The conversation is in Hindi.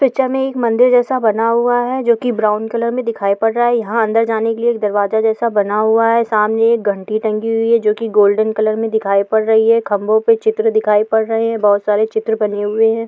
पिक्चर में एक मंदिर जैसा बना हुआ है जो कि ब्राउन कलर में दिखाई पड़ रहा है यहां अंदर जाने के लिए एक दरवाजा जैसा बना हुआ है सामने एक घंटी टंग हुई है जो कि गोल्डन कलर में दिखाई पड़ रही है खंभों पे चित्र दिखाई पड़ रहे है बहुत सारे चित्र बने हुए है।